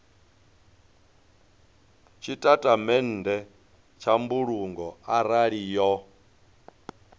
tshitatamennde tsha mbulungo arali yo